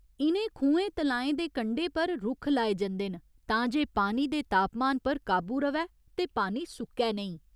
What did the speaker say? इ'नें खुहें तलाएं दे कंढे पर रुक्ख लाए जंदे न तां जे पानी दे तापमान पर काबू र'वै ते पानी सुक्कै नेईं।